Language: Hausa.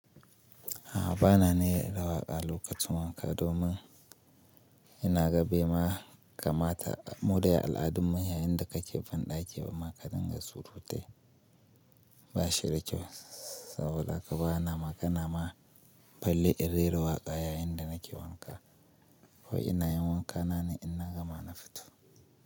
A'a bana ne rera waƙa lokacin wanka domin ina gabe ma kamata mu da ya al'adunmu yayinda ka kebandake ba maka dinga surutai. Ba shi da kyau saboda haka bana ma kana ma falle in rera waƙa yayinda nake wanka ko ina yin wanka na ne ina gama na fito.